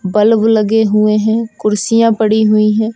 Bulb लगे हुए हैं कुर्सियां पड़ी हुई हैं।